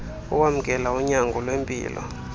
owamkela unyango lwempilo